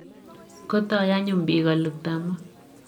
kotoi anyun bik kolukta moo.